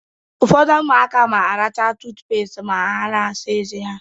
Ụfọdụ ụmụaka na-aracha tụtụpést ma ha na-asa ezé ha.